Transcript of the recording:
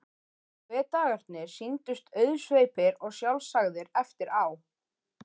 Hve dagarnir sýndust auðsveipir og sjálfsagðir eftir á!